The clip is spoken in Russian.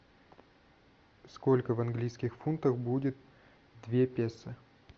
сколько в английских фунтах будет две песо